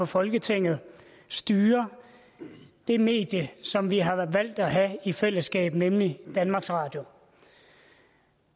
folketinget styrer det medie som vi har valgt at have i fællesskab nemlig danmarks radio